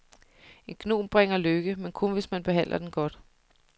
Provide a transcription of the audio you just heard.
En gnom bringer lykke, men kun hvis man behandler den godt.